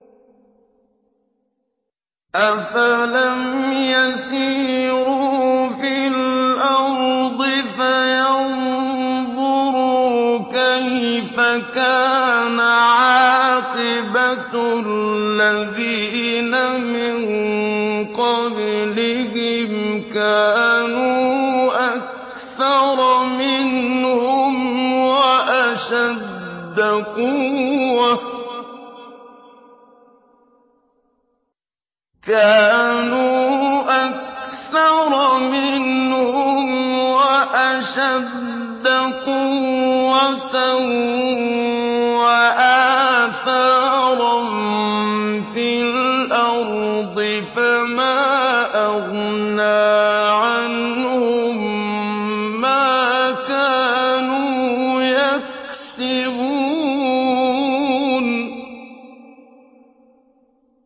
أَفَلَمْ يَسِيرُوا فِي الْأَرْضِ فَيَنظُرُوا كَيْفَ كَانَ عَاقِبَةُ الَّذِينَ مِن قَبْلِهِمْ ۚ كَانُوا أَكْثَرَ مِنْهُمْ وَأَشَدَّ قُوَّةً وَآثَارًا فِي الْأَرْضِ فَمَا أَغْنَىٰ عَنْهُم مَّا كَانُوا يَكْسِبُونَ